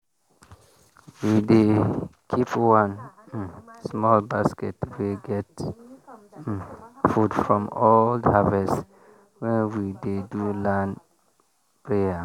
we dey keep one um small basket wey get um food from old harvest when we dey do land prayer.